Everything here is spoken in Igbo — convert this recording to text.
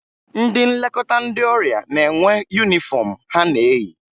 Ndị Nlekọta ndị ọrịa na-enwe yunifọmụ ha na-eyi